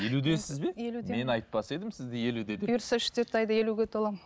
елудесіз бе елудемін мен айтпас едім сізді елуде деп бұйырса үш төрт айда елуге толамын